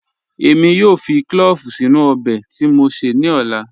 Èmi yóò fì clọ̀ọ̀vù sínu ọbẹ̀ tí mó sé ní ọ̀là.